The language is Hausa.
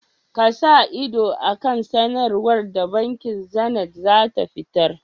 Ku sa ido a kan sanarwar da bankin Zenith zata fitar.